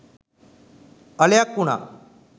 අලයක් උනා.